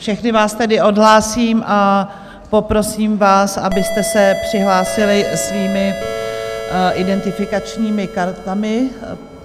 Všechny vás tedy odhlásím a poprosím vás, abyste se přihlásili svými identifikačními kartami.